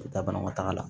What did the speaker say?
U bɛ taa banakɔtaga la